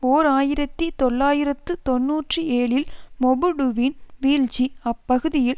ஓர் ஆயிரத்தி தொள்ளாயிரத்து தொன்னூற்றி ஏழில் மொபுடுவின் வீழ்ச்சி அப்பகுதியில்